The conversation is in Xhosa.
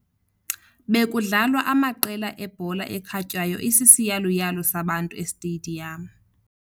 Bekudlalwa amaqela ebhola ekhatywayo isisiyaluyalu sabantu esitediyamu